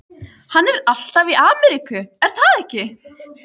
Gaddi, hvaða myndir eru í bíó á föstudaginn?